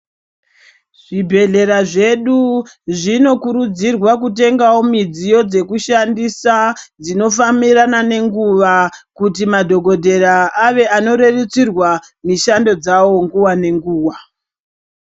Zvibhedhlera zvedu zvinokurudzirwa kutengawo midziyo dzekushandisa dzinofambirana nenguva kuti madhogodheya ave anorerutsirwa mishando dzawo nguwa nenguwa.